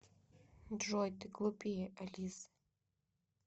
джой ты глупее алисы